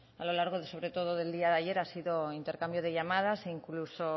a lo largo sobre todo del día de ayer ha sido intercambio de llamadas e incluso